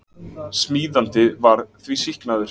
Smíðandi var því sýknaður